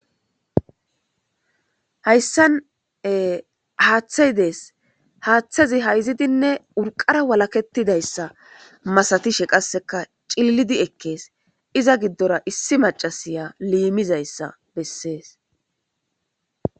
hayssane haaththay dees haaththazi hayzidinne urqara walaketidayssa masatishe qasseka cillidi ekkees iza giddora issi macasiya liimizayssa bessees